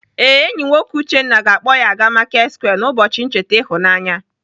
Ee, enyi nwoke Uchenna ga-akpọ ya aga Marketsquare n'ụbọchi ncheta ịhụnanya.